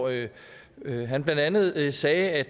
han blandt andet sagde at